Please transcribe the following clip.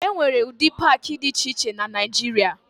E nwere ụdị paakị dị iche iche na Naịjịrịa.